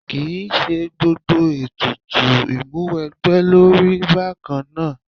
Kì í ṣe gbogbo ètùtù ìmúwẹgbẹ́ ló rí bákan náà.